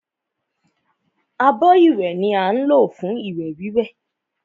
Abọ́ ìwẹ̀ ni á ń lò fún ìwẹ̀ wíwẹ̀